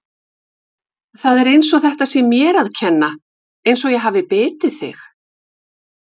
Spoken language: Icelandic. Það er eins og þetta sé mér að kenna, eins og ég hafi bitið þig!